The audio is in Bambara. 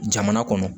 Jamana kɔnɔ